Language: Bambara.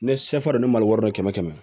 Ne sɛfa dɛ ne ma wari dɔ kɛmɛ kɛmɛ